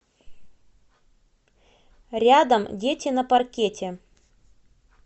рядом дети на паркете